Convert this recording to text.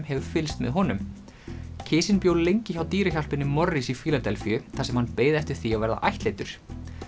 hefur fylgst með honum bjó lengi hjá dýrahjálpinni Morris í Fíladelfíu þar sem hann beið eftir því að verða ættleiddur